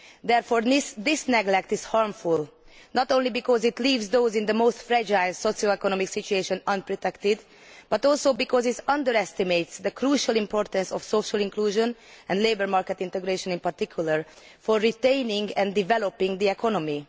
Therefore this neglect is harmful, not only because it leaves people in the most fragile socio economic situation unprotected, but also because it underestimates the crucial importance of social inclusion, and labour market integration in particular, to retaining and developing the economy.